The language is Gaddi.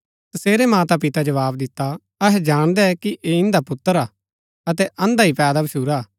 तसेरै मातापिता जवाव दिता अहै जाणदै कि ऐह इन्दा पुत्र हा अतै अंधा ही पैदा भच्छुरा